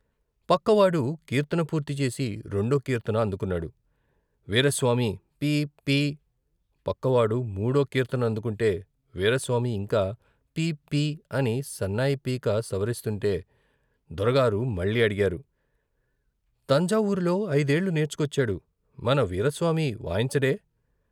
పక్కవాడు కీర్తన పూర్తి చేసి రెండో కీర్తన అందుకున్నాడు, వీరాస్వామి పి పి పక్కవాడు మూడో కీర్తన అందుకుంటే వీరాస్వామి ఇంకా పి పి అని సన్నాయి పీక సవరిస్తుంటే, దొరగారు మళ్ళీ అడిగారు తంజావూరులో ఐదేళ్ళు నేర్చుకొచ్చాడు. మన వీరాస్వామి వాయించడే?